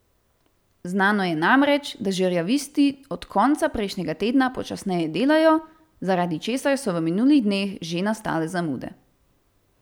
Znano je namreč, da žerjavisti od konca prejšnjega tedna počasneje delajo, zaradi česar so v minulih dneh že nastale zamude.